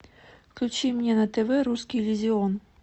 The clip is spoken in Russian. включи мне на тв русский иллюзион